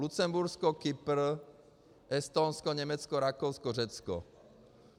Lucembursko, Kypr, Estonsko, Německo, Rakousko, Řecko.